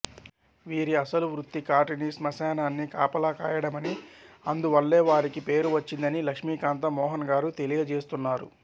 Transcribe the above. వీరి అసలు వృత్తి కాటిని శ్మశాన్ని కాపలా కాయడమనీ అందువల్లే వారికా పేరు వచ్చిందనీ లక్ష్మీకాంత మోహన్ గారు తెలియజేస్తున్నారు